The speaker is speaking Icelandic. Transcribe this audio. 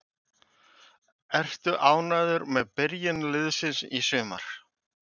Ertu ánægður með byrjun liðsins í sumar?